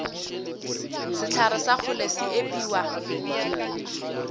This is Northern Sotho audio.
sehlare sa kgole se epiwa